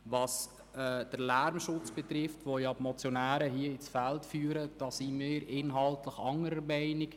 Beim Lärmschutz, den die Motionäre ins Feld führen, sind wir inhaltlich anderer Meinung.